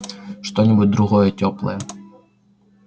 что-нибудь другое тёплое